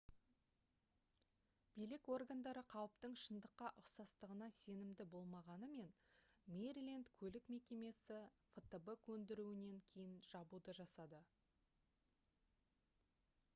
билік органдары қауіптің шындыққа ұқсастығына сенімді болмағанымен мэриленд көлік мекемесі фтб көндіруінен кейін жабуды жасады